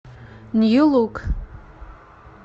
нью лук